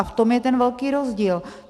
A v tom je ten velký rozdíl.